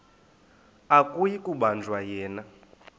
akuyi kubanjwa yena